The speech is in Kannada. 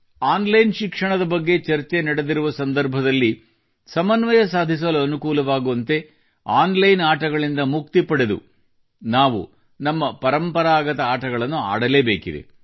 ಆನ್ ಲೈನ್ ಶಿಕ್ಷಣದ ಬಗ್ಗೆ ಚರ್ಚೆ ನಡೆದಿರುವ ಸಂದರ್ಭದಲ್ಲಿ ಸಮನ್ವಯ ಸಾಧಿಸಲು ಅನುಕೂಲವಾಗುವಂತೆ ಆನ್ ಲೈನ್ ಆಟಗಳಿಂದ ಮುಕ್ತಿ ಪಡೆದು ನಾವು ನಮ್ಮ ಪರಂಪರಾಗತ ಆಟಗಳನ್ನು ಆಡಲೇಬೇಕಾಗಿದೆ